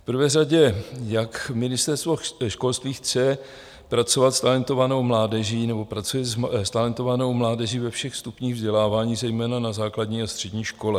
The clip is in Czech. V prvé řadě, jak Ministerstvo školství chce pracovat s talentovanou mládeží nebo pracuje s talentovanou mládeží na všech stupních vzdělávání, zejména na základní a střední škole?